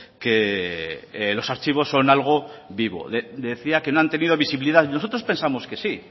que los archivos son algo vivo decía que no han tenido visibilidad nosotros pensamos que sí